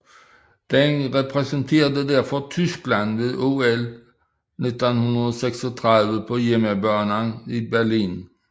Den repræsenterede derfor Tyskland ved OL 1936 på hjemmebane i Berlin